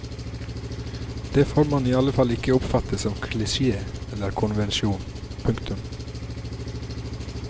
Det får man i alle fall ikke oppfatte som klisje eller konvensjon. punktum